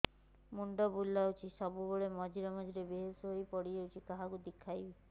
ମୁଣ୍ଡ ବୁଲାଉଛି ସବୁବେଳେ ମଝିରେ ମଝିରେ ବେହୋସ ହେଇ ପଡିଯାଉଛି କାହାକୁ ଦେଖେଇବି